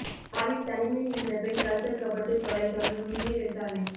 யாழில் தனிமையில் இருந்த பெண் கழுத்தறுக்கப்பட்டு கொலை தொடரும் தீவிர விசாரணை